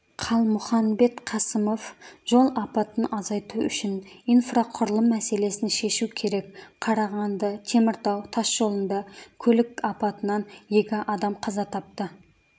қалмұханбет қасымов жол апатын азайту үшін инфрақұрылым мәселесін шешу керек қарағанды-теміртау тас жолында көлік апатынан екі адам қаза тапты